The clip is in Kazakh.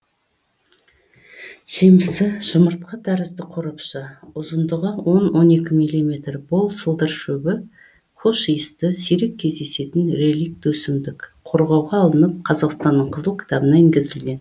жемісі жұмыртқа тәрізді қорапша ұзындығы он он екі миллиметр бор сылдыршөбі хош иісті сирек кездесетін реликт өсімдік қорғауға алынып қазақстанның қызыл кітабына енгізілген